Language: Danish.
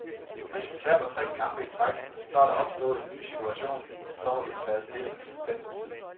Hvis vi taber tre kampe i træk, så er der opstået en ny situation, og så vi må tage stilling til den tid.